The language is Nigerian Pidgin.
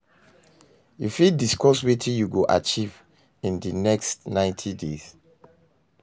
you fit discuss wetin you go achieve in di next 90 days?